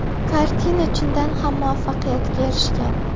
Kartina chindan ham muvaffaqiyatga erishgan.